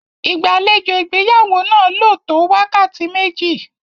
Ìgbàlejò ìgbéyàwó náà lò tó wákàtí méjì.